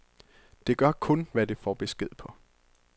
Det gør kun, hvad det får besked på.